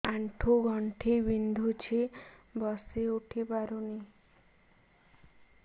ଆଣ୍ଠୁ ଗଣ୍ଠି ବିନ୍ଧୁଛି ବସିଉଠି ପାରୁନି